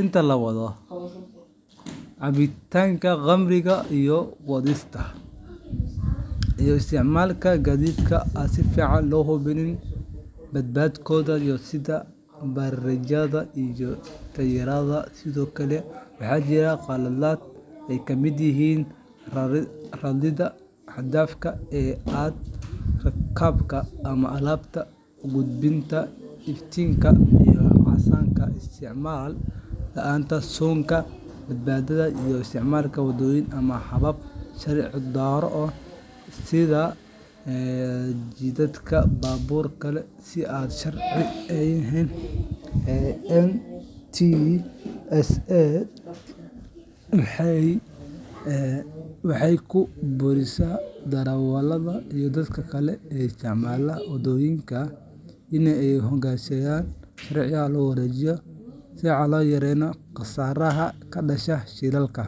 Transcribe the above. inta la wado, cabitaanka khamriga iyo wadista, iyo isticmaalka gaadiid aan si fiican loo hubin badqabkooda sida bareegyada iyo taayirrada. Sidoo kale, waxaa jira qaladaad ay ka mid yihiin raridda xad-dhaafka ah ee rakaabka ama alaabta, gudbida iftiinka casaanka, isticmaal la’aanta suunka badbaadada, iyo isticmaalka waddooyin ama habab sharci darro ah sida jiiditaanka baabuur kale si aan sharci ahayn. NTSA waxay ku boorisaa darawalada iyo dadka kale ee isticmaala waddooyinka in ay u hoggaansamaan sharciga si loo yareeyo khasaaraha ka dhasha shilalka.